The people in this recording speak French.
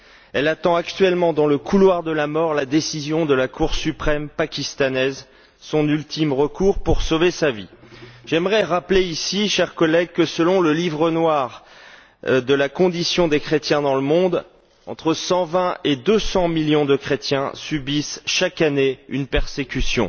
Elle attend actuellement dans le couloir de la mort la décision de la Cour suprême pakistanaise, son ultime recours pour sauver sa vie. Chers collègues, j'aimerais rappeler que, selon Le livre noir de la condition des chrétiens dans le monde entre 120 et 200 millions de chrétiens subissent chaque année une persécution.